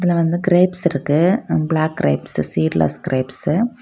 இதுல வந்து கிரேப்ஸ் இருக்கு black grapes seedless grapes .